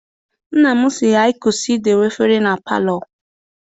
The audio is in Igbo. Nna m si anyị kwụsị I dowe efere na palọ.